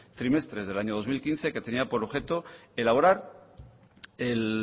trimestres del año dos mil quince que tenía por objeto elaborar el